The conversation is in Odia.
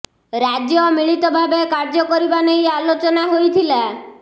ରାଜ୍ୟ ମିଳିତ ଭାବେ କାର୍ଯ୍ୟ କରିବା ନେଇ ଆଲୋଚନା ହୋଇଥିଲା